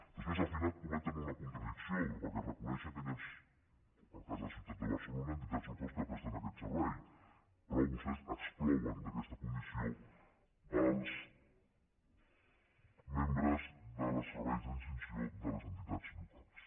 després al final cometen una contradicció perquè reconeixen que hi ha en el cas de la ciutat de bar·celona entitats locals que presten aquest servei però vostès exclouen d’aquesta condició els membres dels serveis d’extinció de les entitats locals